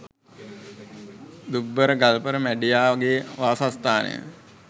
දුම්බර ගල්පර මැඬියා ගේ වාසස්ථාන